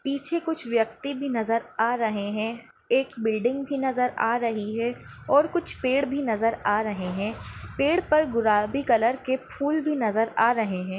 पीछे कुछ व्यक्ति भी नजर आ रहे है एक बिल्डिंग भी नजर आ रही है और कुछ पेड़ भी नजर आ रहे है पेड़ पर गुलाबी कलर के फूल भी नजर आ रहे है।